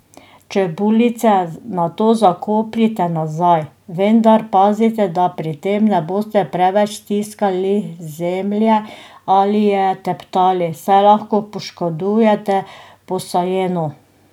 Čebulice nato zakopljite nazaj, vendar pazite, da pri tem ne boste preveč stiskali zemlje ali je teptali, saj lahko poškodujete posajeno.